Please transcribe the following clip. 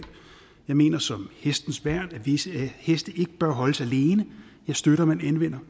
jeg mener som hestens værn at visse heste ikke bør holdes alene jeg støtter at man anvender